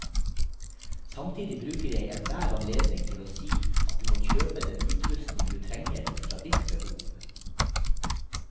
Samtidig bruker jeg enhver anledning til å si at du må kjøpe den utrustning du trenger ut fra ditt behov.